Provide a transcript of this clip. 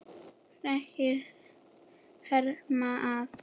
Fregnir herma að.